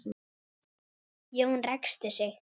Jón ræskti sig.